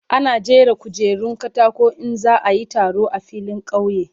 Ana jera kujerun katako in za a yi taro a filin kauye.